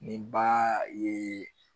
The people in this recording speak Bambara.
Nin ba ye